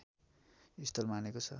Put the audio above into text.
स्थल मानेको छ